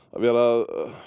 að vera